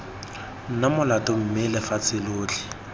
na molato mme lefatshe lotlhe